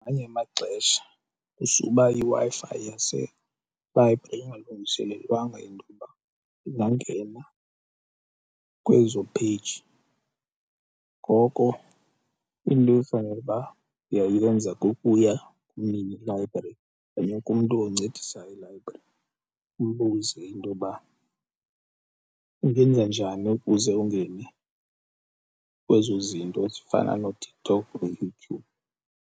Ngamanye amaxesha kusuba iWi-Fi yaselayibhri ingalungiselelwanga intoba ingangena kwezo page, ngoko into ekufanele uba uyayenza kukuya kumnini library okanye kumntu oncedisa elayibrari ubuze intoba ungenza njani ukuze ungene kwezo zinto ezifana nooTikTok nooYouTube.